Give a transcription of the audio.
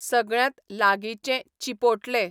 सगळ्यांत लागींचें चीपोट्ले